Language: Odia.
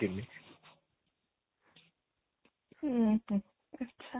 ଉଁ ହୁଁ ଆଛା